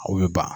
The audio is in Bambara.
Aw bɛ ban